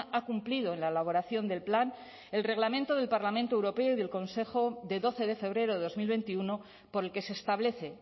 ha cumplido en la elaboración del plan el reglamento del parlamento europeo y del consejo de doce de febrero de dos mil veintiuno por el que se establece